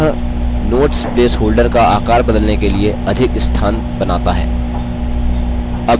यह notes place holder का आकार बदलने के लिए अधिक स्थान बनाता है